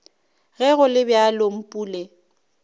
ge go le bjalo mpule